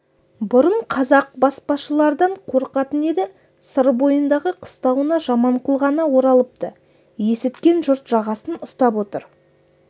бұрын қазақ баспашылардан қорқатын еді сыр бойындағы қыстауына жаманқұл ғана оралыпты есіткен жұрт жағасын ұстап отыр